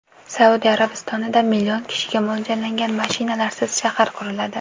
Saudiya Arabistonida million kishiga mo‘ljallangan mashinalarsiz shahar quriladi.